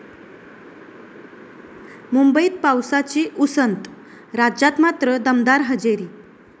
मुंबईत पावसाची उसंत, राज्यात मात्र दमदार हजेरी